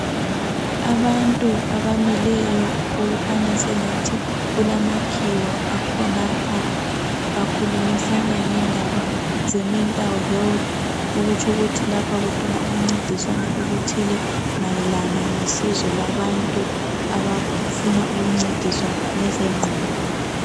Abantu abamileyo okukhanya sengathi kulamakhiwa akhonapha akhulumisana ngendaba zemental health, okutsho ukuthi lapha kukhona ukuncediswana okuthile mayelana ngosizo lwabantu abafuna ukuncediswa ngezengqondo.